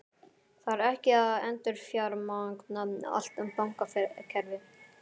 Þarf ekki að endurfjármagna allt bankakerfið?